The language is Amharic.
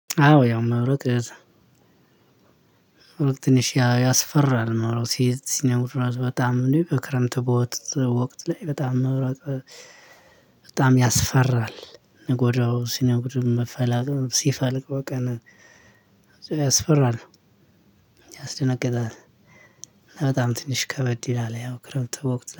አዎ ያው መብረቅ ትንሽ ያስፈራል መብረቅ ሲነጉድ በጣም ነው። በክረምት ቦት ወቅት ላይ በጣም መብራት በጣም ያስፈራል። ንጎዳው ሲነጉድ መፈላጠም ሲፈልቅ በቃ አስፈራለሁ ያስደነግጣል። በጣም ትንሽ ከበድ ይላል ያው ክረምት ወቅት